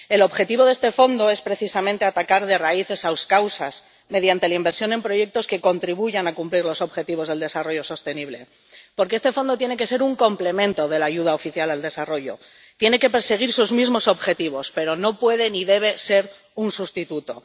El objetivo de este fondo es precisamente atacar de raíz esas causas, mediante la inversión en proyectos que contribuyan a cumplir los objetivos de desarrollo sostenible. Porque este fondo tiene que ser un complemento de la ayuda oficial al desarrollo, tiene que perseguir sus mismos objetivos, pero no puede ni debe ser un sustituto.